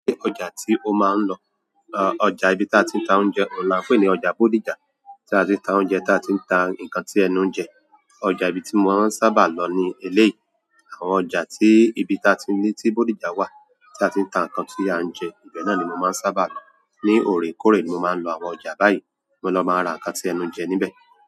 Ọjà tí o máa ń lọ, ọjà ibi tí a ti ń ta oúnjẹ oun la ń pè ní ọjà Bódìjà tí a ti ń ta oúnjẹ, tí a ti ń ta nǹkan tí ẹnu ń jẹ. Ọjà ibi tí mo maa n sábà lọ ni eléyìí, àwọn ọjà tí ibi tí a ti ní tí Bódìjà wà tí a ti ń ta ǹkan tí a ń jẹ, ibẹ̀ náà ni mo maa n sábà lọ. Ní orekore ni mo máa ń lọ àwọn ọjà báyìí, mo lọ máa n ra ǹkan tí ẹnu ń jẹ níbẹ̀.